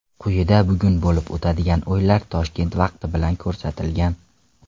Quyida bugun bo‘lib o‘tadigan o‘yinlar Toshkent vaqti bilan ko‘rsatilgan.